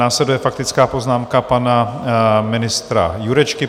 Následuje faktická poznámka pana ministra Jurečky.